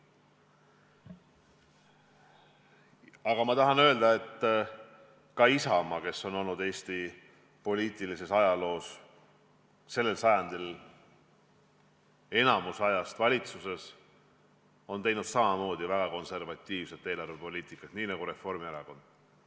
Aga ma tahan öelda, et ka Isamaa, kes on sel sajandil olnud enamiku ajast valitsuses, on ajanud väga konservatiivset eelarvepoliitikat, nii nagu Reformierakond.